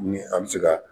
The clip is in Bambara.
Ni an bɛ se ka